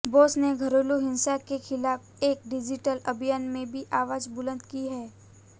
बोस ने घरेलू हिंसा के खिलाफ एक डिजिटल अभियान में भी आवाज बुलंद की है